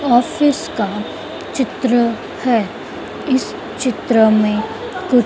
office का चित्र है इस चित्र में कु--